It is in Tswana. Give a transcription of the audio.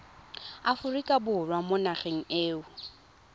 aforika borwa mo nageng eo